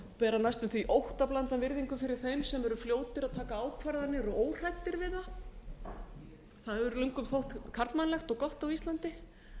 bera næstum því óttablandna virðingu fyrir þeim sem eru fljótir að taka ákvarðanir og óhræddir við það það hefur löngum þótt karlmannlegt og gott á íslandi